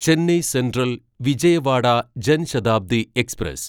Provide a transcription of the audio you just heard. Chennai central Vijayawada Jan Shatabdi express